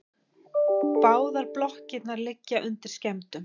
Báðar blokkirnar liggja undir skemmdum